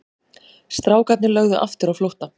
Strákarnir lögðu aftur á flótta.